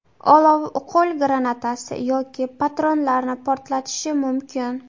Olov qo‘l granatasi yoki patronlarni portlatishi mumkin.